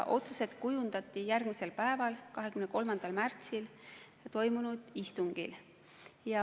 Otsused kujundati järgmisel päeval, 23. märtsil toimunud istungil.